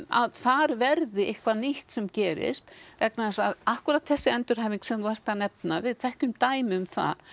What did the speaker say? að þar verði eitthvað nýtt sem gerist vegna þess að akkúrat þessi endurhæfing sem þú ert að nefna við þekkjum dæmi um það